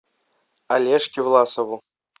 олежке власову